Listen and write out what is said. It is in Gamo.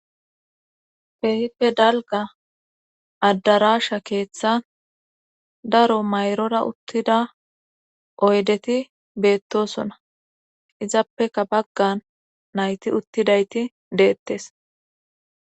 Keehippe dalga addaraasha keeththan daro mayrora uttida oydeti beettosona izappeka baggan nayti uttidayti deettes